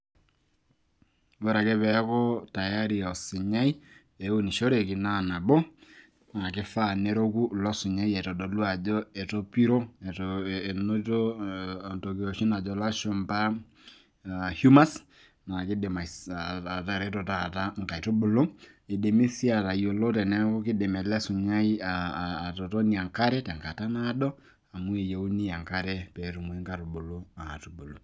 ore ake pee eeku tayari osinyai , pee eunishoreki naa nabo, naa kifaa pee eroku ilosinyai eton eitu, itodolu ajo etopiro, enoto entoki oshi najo lashumpa, humors naa kidim atareto taata inkaitubulu, idimi sii aatayiolo teneeku kidim ele sinyai, aa atotonie enkare tenkata naado. amu eyienyie enkare pee etumoki inkaitubulu aatubulu.